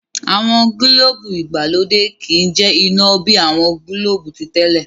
àwọn gilobu ìgbàlódé ki jẹ ina bi awọn gilobu titẹle.